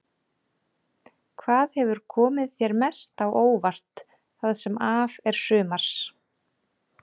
Hvað hefur komið þér mest á óvart það sem af er sumars?